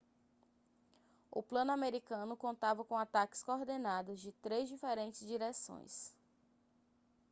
o plano americano contava com ataques coordenados de três diferentes direções